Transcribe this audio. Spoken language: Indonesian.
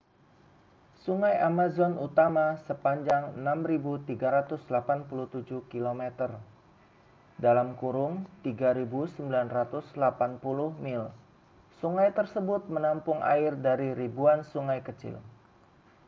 sungai amazon utama sepanjang 6.387 km 3.980 mil. sungai tersebut menampung air dari ribuan sungai kecil